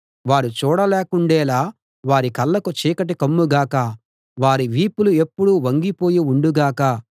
వారు చూడలేకుండేలా వారి కళ్ళకు చీకటి కమ్ము గాక వారి వీపులు ఎప్పుడూ వంగిపోయి ఉండు గాక